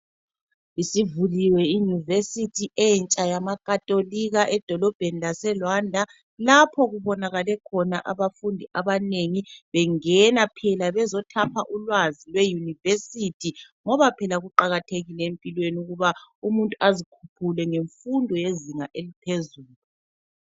Isivuliwe iYunivesithi entsha yamaKhatolika edolobheni laseRwanda laphokubonakale khona abafundi abanengi bengena phela bezothapha ulwazi eYunivesithi ngoba phela kuqakathekile empilweni ukuba umuntu azikhuphule ngemfundo yezinga eliphezulu.